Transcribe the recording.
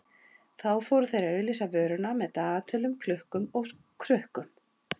Þá fóru þeir að auglýsa vöruna með dagatölum, klukkum og krukkum.